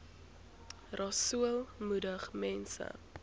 rasool moedig mense